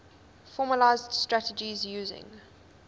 formalised strategies using